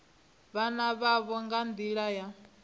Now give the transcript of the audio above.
vhana vhavho nga nḓila ya